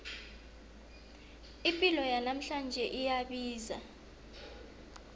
ipilo yanamhlanje iyabiza